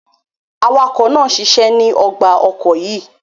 Awakọ naa ṣiṣẹ ni ọgba ọkọ yíì